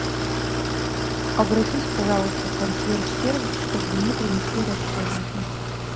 обратись пожалуйста в консьерж сервис чтобы мне принесли расходники